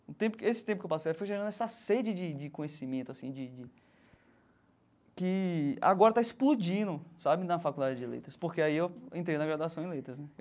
O tempo esse tempo que eu passei foi gerando essa sede de de conhecimento assim de de, que agora está explodindo sabe na faculdade de Letras, porque aí eu entrei na graduação em Letras né.